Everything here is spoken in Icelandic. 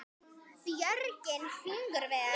Björgin fingur ver.